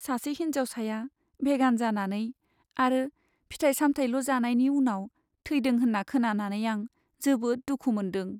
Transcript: सासे हिन्जावसाया भेगान जानानै आरो फिथाइ सामथाइल' जानायनि उनाव थैदों होन्ना खोनानानै आं जोबोद दुखु मोनदों।